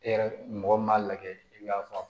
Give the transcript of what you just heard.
E yɛrɛ mɔgɔ min m'a lajɛ i k'a fɔ